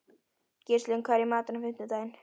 Gíslunn, hvað er í matinn á fimmtudaginn?